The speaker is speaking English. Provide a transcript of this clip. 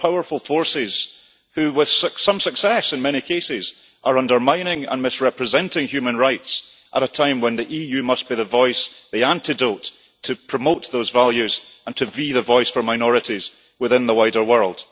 There are powerful forces who, with some success in many cases, are undermining and misrepresenting human rights at a time when the EU must be the voice the antidote to promote those values and to be the voice for minorities within the wider world.